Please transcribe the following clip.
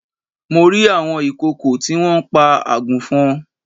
Mo rí àwọn ìkòkò tí wọ́n pa àgùnfọn